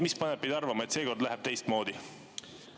Mis paneb teid arvama, et seekord läheb teistmoodi?